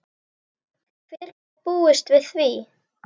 Hver gat búist við því?